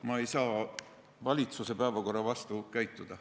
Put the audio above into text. Ma ei saa valitsuse päevakorra vastu käituda.